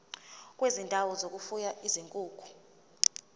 kwezindawo zokufuya izinkukhu